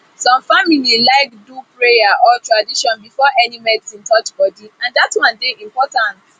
some family like do prayer or tradition before any medicine touch body and dat one dey important